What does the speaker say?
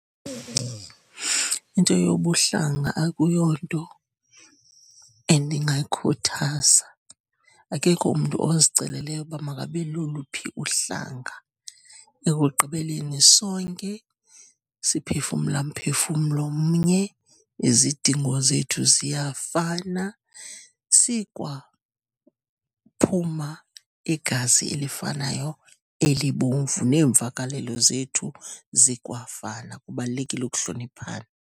Into yobuhlanga akuyonto endingayikhuthaza. Akekho umntu oziceleleyo ukuba abe loluphi uhlanga, ekugqibeleni sonke siphefumla mphefumlo mnye, nezidingo zethu ziyafana, sikwaphuma igazi elifanayo elibomvu, neemvakalelo zethu zikwafana. Kubalulekile ukuhloniphana.